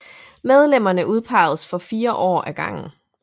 Medlemmerne udpeges for 4 år ad gangen